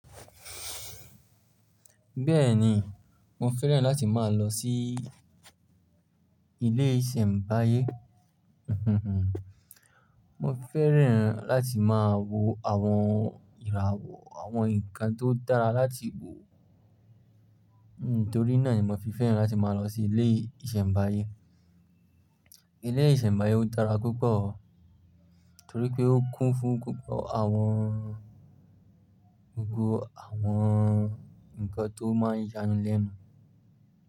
Bẹ́ẹ̀ni, mo fẹ́ràn láti máa lọ sí ilé ìṣẹ̀mbáyé. Mo fẹ́ràn láti máa wo àwọn ìràwọ̀ àwọn nǹkan tó dára láti wò. Torí náà ni mo fi fẹ́ràn láti máa lọ sí ilé ìṣẹ̀mbáyé. Ilé ìṣẹ̀mbáyé o dára púpọ̀ torí pé ó kún fún púpọ̀ àwọn ògo àwọn ǹkan tó máa ń yanilẹ́nu.